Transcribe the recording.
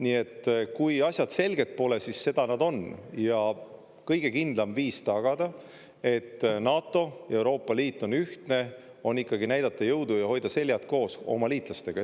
Nii et kui asjad selged pole, siis seda nad on, ja kõige kindlam viis tagada, et NATO ja Euroopa Liit on ühtne, on ikkagi näidata jõudu ja hoida seljad koos oma liitlastega.